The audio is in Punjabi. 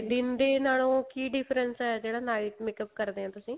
ਦਿਨ ਦੇ ਨਾਲੋ ਕੀ difference ਏ ਜਿਹੜਾ night makeup ਕਰਦੇ ਓ ਤੁਸੀਂ